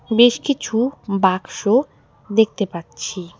বেশ কিছু বাক্স দেখতে পাচ্ছি।